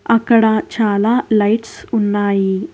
అక్కడ చాలా లైట్స్ ఉన్నాయి.